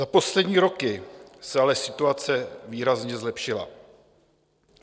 Za poslední roky se ale situace výrazně zlepšila.